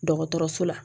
Dɔgɔtɔrɔso la